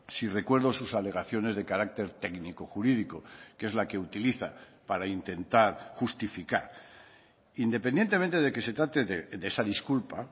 si recuerdo sus alegaciones de carácter técnico jurídico que es la que utiliza para intentar justificar independientemente de que se trate de esa disculpa